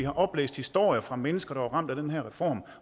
oplæst historier fra mennesker der er ramt af den her reform